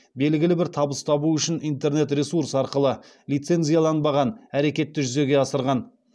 белгілі бір табыс табу үшін интернет ресурс арқылы лицензияланбаған әрекетті жүзеге асырған